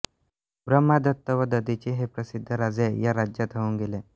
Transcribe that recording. ब्रम्हादत्त व दधिची हे प्रसिद्ध राजे या राज्यात होऊन गेले